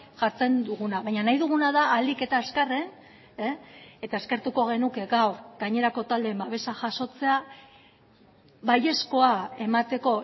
jartzen duguna baina nahi duguna da ahalik eta azkarren eta eskertuko genuke gaur gainerako taldeen babesa jasotzea baiezkoa emateko